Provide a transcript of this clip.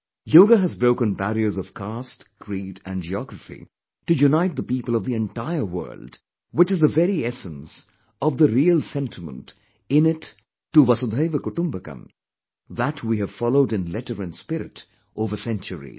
Yogahas broken barriers of caste, creed and geography to unite the people of the entire world, which is the very essence of the real sentiment innate to Vasudhaiva Kutumbakam that we have followed in letter and spirit over centuries